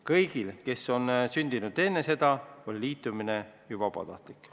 Kõigil, kes on sündinud enne seda, on liitumine juba praegu vabatahtlik.